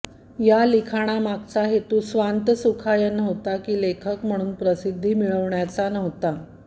या लिखाणामागचा हेतू स्वान्तसुखाय नव्हता की लेखक म्हणून प्रसिद्धी मिळविण्याचा नव्हता